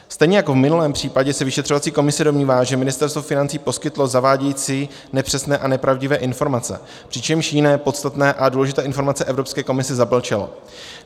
Stejně jako v minulém případě se vyšetřovací komise domnívá, že Ministerstvo financí poskytlo zavádějící, nepřesné a nepravdivé informace, přičemž jiné, podstatné a důležité informace Evropské komisi zamlčelo.